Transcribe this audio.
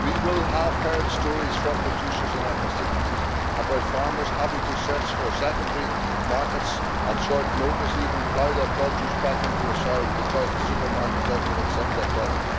We will all have heard stories from producers in our constituencies about farmers having to search for secondary markets at short notice, even plough their produce back into the soil, because the supermarket does not accept their product.